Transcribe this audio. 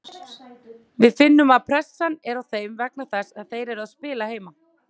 Við finnum að pressan er á þeim vegna þess að þeir eru að spila heima.